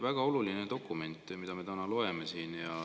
Väga oluline dokument on see, mida me täna siin loeme.